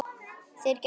Þeir gætu.